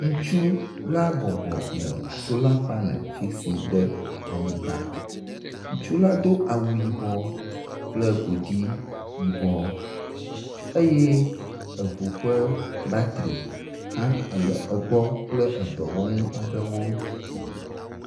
Ŋutsu la bɔbɔ le sola paneli fisim le anyigba. Ŋutsu la do awu yibɔ kple godzi yibɔ eye eŋu ƒe batri hã le egbɔ kple dɔwɔnu aɖewo.